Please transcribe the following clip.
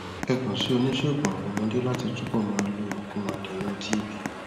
ẹ kàn sí oníṣègùn àwọn ọmọdé láti túbọ máa lo òògùn adènà tb